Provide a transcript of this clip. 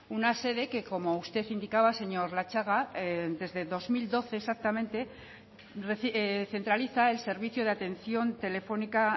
una sede que como usted indicaba señor latxaga desde dos mil doce exactamente centraliza el servicio de atención telefónica